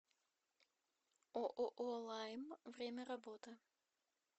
ооо лайм время работы